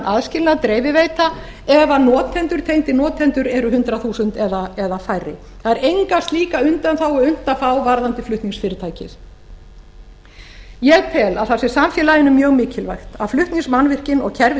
aðskilnað dreifiveita ef tengdir notendur eru hundrað þúsund eða færri það er enga slíka undanþágu unnt að fá varðandi flutningsfyrirtæki ég tel að það sé samfélaginu mjög mikilvæg að flutningsmannvirkin og